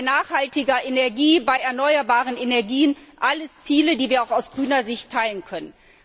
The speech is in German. nachhaltiger Energie, erneuerbaren Energien alles Ziele, die wir auch aus grüner Sicht teilen können.